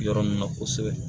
Yɔrɔ nin na kosɛbɛ